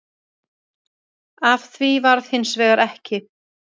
Af því varð hins vegar ekki